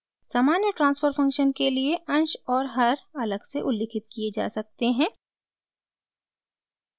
सामान्य transfer function के लिए अंश और हर अलग से उल्लिखित किये जा सकते हैं